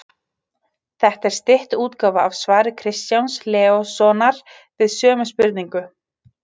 Þetta er stytt útgáfa af svari Kristjáns Leóssonar við sömu spurningu.